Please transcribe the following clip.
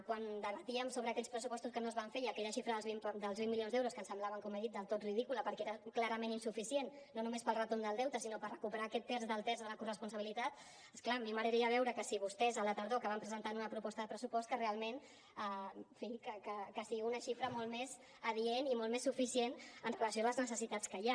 quan debatíem sobre aquells pressupostos que no es van fer i aquella xifra dels vint milions d’euros que ens semblaven com he dit del tot ridícula perquè era clarament insuficient no només per al retorn del deute sinó per recuperar aquest terç del terç de la corresponsabilitat és clar a mi m’agradaria veure que si vostès a la tardor que van presentar una proposta de pressupost que realment en fi que sigui una xifra molt més adient i molt més suficient amb relació a les necessitats que hi ha